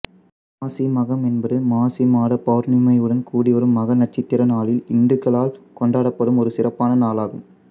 மாசி மகம் என்பது மாசி மாத பௌர்ணமியுடன் கூடிவரும் மக நட்சத்திர நாளில் இந்துக்களால் கொண்டாடப்படும் ஒரு சிறப்பான நாளாகும்